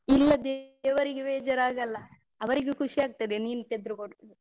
ಇಲ್ಲ ದೇವರಿಗೆ ಬೇಜಾರಾಗಲ್ಲ. ಅವರಿಗು ಖುಷಿಯಾಗುತ್ತದೆ ನೀನ್ ತೆಗ್ದುಕೊಟ್ರೆ.